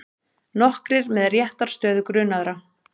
Nokkrir með réttarstöðu grunaðra